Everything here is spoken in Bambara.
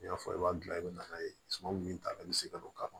N y'a fɔ i b'a dilan i bɛ na n'a ye suman min ta i bɛ se ka don k'a fɔ